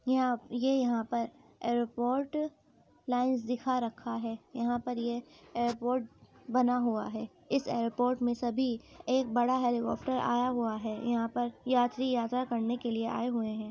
यहाँ ये यहा पर यह एयरपोर्ट लिनस दिखा रखा है | यहाँ पर ये एयरपोर्ट बना हुआ है | ईस एयरपोट में सभी एक बड़ा हेलीकाप्टर आया हुआ है | यहा पर यात्री यात्रा करने के लिए आये हुए है ।